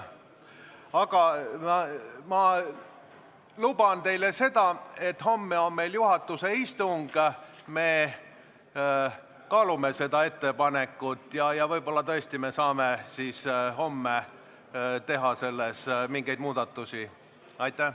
Aga ma luban teile seda, et homme on meil juhatuse istung, me kaalume seda ettepanekut ja võib-olla tõesti saame homme teha päevakorras mingeid muudatusi.